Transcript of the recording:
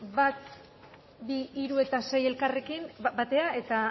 bat bi hiru eta sei elkarrekin batera eta